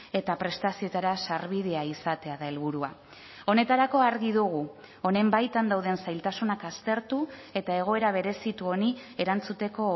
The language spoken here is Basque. eta prestazioetara sarbidea izatea da helburua honetarako argi dugu honen baitan dauden zailtasunak aztertu eta egoera berezitu honi erantzuteko